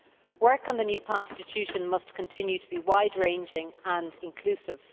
Work on the new constitution must continue to be wide ranging and inclusive.